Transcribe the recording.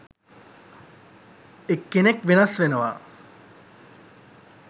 එක් කෙනෙක් වෙනස් වෙනවා.